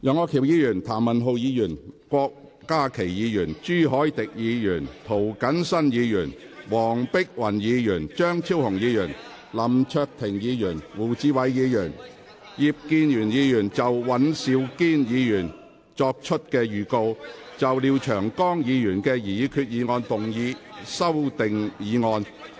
楊岳橋議員、譚文豪議員、郭家麒議員、朱凱廸議員、涂謹申議員、黃碧雲議員、張超雄議員、林卓廷議員、胡志偉議員、葉建源議員及尹兆堅議員亦已作出預告，就廖長江議員的擬議決議案動議修訂議案。